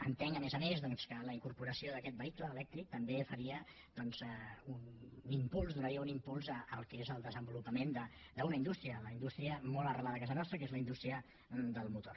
entenc a més a més doncs que la incorporació d’aquest vehicle elèctric també faria un impuls donaria un impuls al que és el desenvolupament d’una indústria la indústria molt arrelada a casa nostra que és la indústria del motor